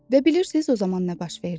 Və bilirsiz o zaman nə baş verdi?